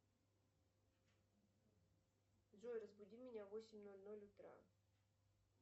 джой разбуди меня в восемь ноль ноль утра